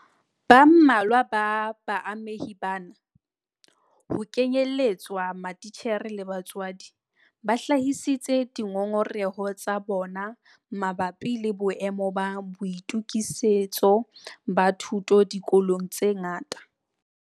Ba mmalwa ba baamehi bana - ho kenyeletswa matitjhere le batswadi - ba hlahisitse dingongoreho tsa bona mabapi le boemo ba boitokisetso ba thuto dikolong tse ngata.